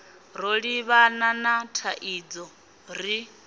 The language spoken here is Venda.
ro livhana na thaidzo ri